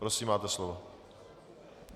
Prosím, máte slovo.